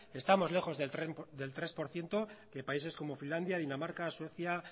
estamos lejos del tres por ciento de países como finlandia dinamarca suecia